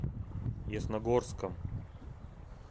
ясногорском